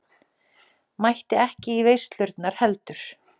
Mætti ekki í veislurnar heldur.